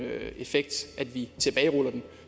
effekt at vi tilbageruller den